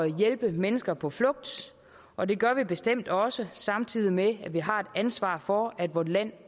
hjælpe mennesker på flugt og det gør vi bestemt også samtidig med at vi har et ansvar for at vort land